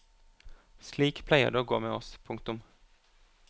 Slik pleier det å gå med oss. punktum